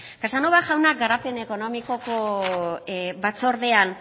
casanova jaunak garapen ekonomikoko batzordean